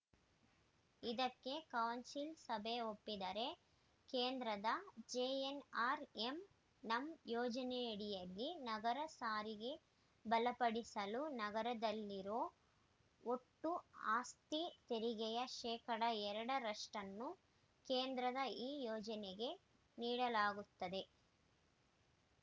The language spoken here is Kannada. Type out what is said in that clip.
ಇದಕ್ಕೆ ಕೌನ್ಸಿಲ್‌ ಸಭೆ ಒಪ್ಪಿದರೆ ಕೇಂದ್ರದ ಜೆಎನ್‌ಆರ್‌ಎಂ ನಮ್‌ ಯೋಜನೆಯಡಿಯಲ್ಲಿ ನಗರ ಸಾರಿಗೆ ಬಲಪಡಿಸಲು ನಗರದಲ್ಲಿರೋ ಒಟ್ಟು ಆಸ್ತಿ ತೆರಿಗೆಯ ಶೇಕಡಾ ಎರಡ ರಷ್ಟನ್ನು ಕೇಂದ್ರದ ಈ ಯೋಜನೆಗೆ ನೀಡಬೇಕಾಗುತ್ತದೆ